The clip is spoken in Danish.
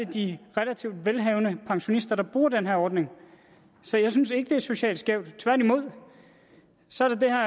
de relativt velhavende pensionister der bruger den her ordning så jeg synes ikke det er socialt skævt tværtimod så er der